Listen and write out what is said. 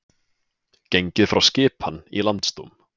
Gengið frá skipan í Landsdóm